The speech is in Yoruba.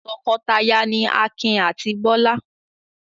Tọkọtaya ni Akin àti Bọ́lá.